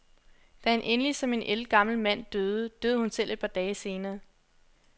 Da han endelig som en ældgammel mand døde, døde hun selv et par dage senere.